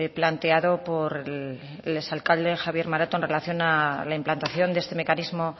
planteado por el exalcalde javier maroto en relación a la implantación de este mecanismo